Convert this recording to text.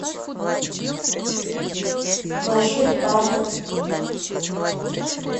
маршрут бархат